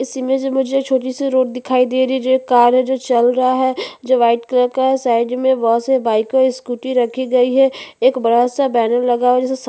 इस इमेज में मुझे एक छोटी सी रोड दिखाई दे रही है जो एक कार है जो चल रहा है जो व्हाइट कलर का है साइड में बहोत सारी बाइक और स्कूटी रखी गई है एक बड़ा-सा बैनर लगा है जिसे--